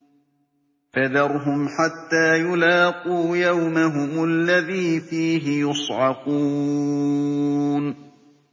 فَذَرْهُمْ حَتَّىٰ يُلَاقُوا يَوْمَهُمُ الَّذِي فِيهِ يُصْعَقُونَ